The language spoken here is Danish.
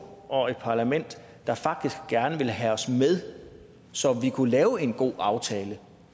og et parlament der faktisk gerne ville have os med så vi kunne lave en god aftale